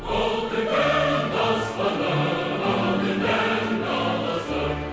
алтын күн аспаны алтын дән даласы